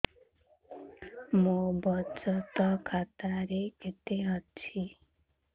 ମୋ ବଚତ ଖାତା ରେ କେତେ ଅଛି